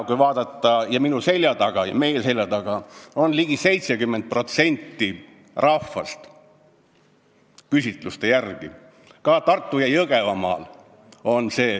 Kui vaadata, siis minu ja meie selja taga on küsitluste järgi ligi 70% rahvast, seda ka Tartu- ja Jõgevamaal.